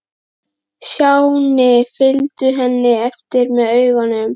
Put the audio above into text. Stjáni fylgdu henni eftir með augunum.